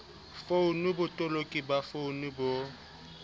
founung botoloki ba founu bo